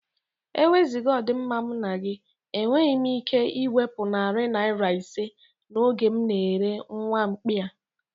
Eweziga ọdi mma m na gị, enweghị me ike iwepụ narị naira ise n'ego m na-ere nwamkpi a.